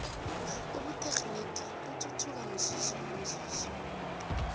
ubuthegnirhi buthuthuka umzuzu nomzuzu